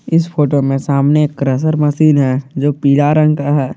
इस फोटो में सामने एक क्रशर मशीन है जो पीला रंग का है।